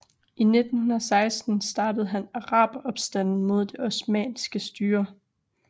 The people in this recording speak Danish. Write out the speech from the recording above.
I 1916 startede han araberopstanden mod det osmanniske styre